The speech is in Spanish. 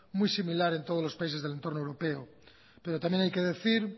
muy similar en todos los países del entorno europeo pero también hay que decir